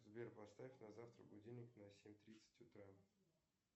сбер поставь на завтра будильник на семь тридцать утра